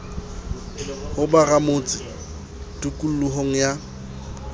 ho ba ramotse tikolohong ya